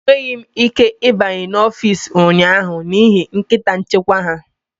Enweghị m ike ịbanye n'ọfịs ụnyaahụ n'ihi nkịta nchekwa ha